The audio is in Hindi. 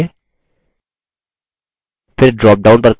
फिर ड्रॉपडाउन पर click करें